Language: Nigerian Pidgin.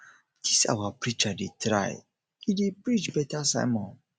dis our preacher dey try e e dey preach beta sermon